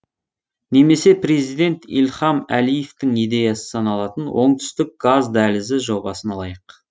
немесе президент ильхам әлиевтің идеясы саналатын оңтүстік газ дәлізі жобасын алайық